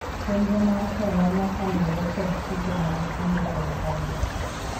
chenro mar hola nyaka luwre kod chike mag kungo kod hola